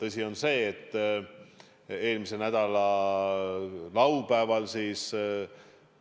Tõsi on see, et eelmise nädala laupäeval